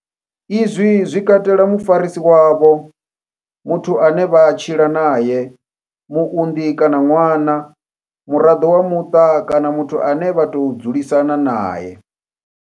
Izwi zwi katela mufarisi wavho, muthu ane vha tshila nae, muunḓi kana ṅwana, muraḓo wa muṱa kana muthu ane vha tou dzulisana nae.